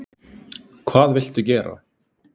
Hvað viltu gera?